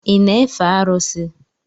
Ị na-efe arụsị?